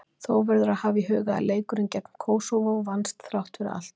Þó verður að hafa í huga að leikurinn gegn Kósóvó vannst, þrátt fyrir allt.